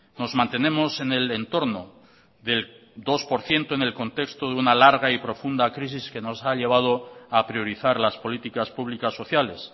nos mantenemos en el entorno del dos por ciento en el contexto de una larga y profunda crisis que nos ha llevado a priorizar las políticas públicas sociales